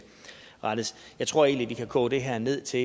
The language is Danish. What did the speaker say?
rettes jeg tror egentlig vi kan koge det her ned til